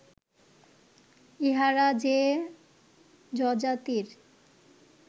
ইঁহারা যে যযাতির